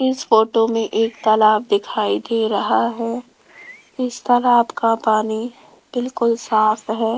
इस फोटो में एक तालाब दिखाई दे रहा है इस तालाब का पानी बिल्कुल साफ है।